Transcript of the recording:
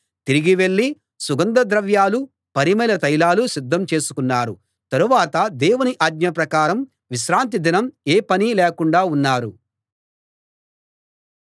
తిరిగి వెళ్ళి సుగంధ ద్రవ్యాలూ పరిమళ తైలాలూ సిద్ధం చేసుకున్నారు తరువాత దేవుని ఆజ్ఞ ప్రకారం విశ్రాంతి దినం ఏ పనీ లేకుండా ఉన్నారు